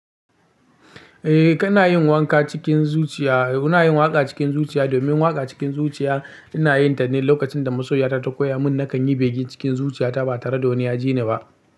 Eh kana yin wanka cikin zuciya. Muna yin waka cikin zuciya domin waka cikin zuciya ina yin ta ne lokacin da masoyiya ta ta koya mun na kan yi bege cikin zuciya ta ba tare da wani ya ji ni ba.